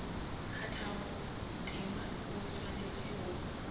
kgathago tema o swanetše go